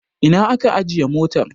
Ina aka ajiye motar?